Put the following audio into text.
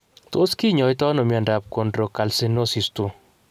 Tos kinyaita ano miobdap chondrocalcinosis 2.